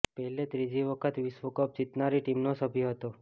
પેલે ત્રીજી વખત વિશ્વકપ જીતનારી ટીમનો સભ્ય હતો